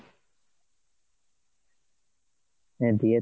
হ্যাঁ দিয়ে তুই